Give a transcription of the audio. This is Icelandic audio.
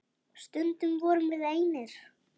Stundum vorum við einir.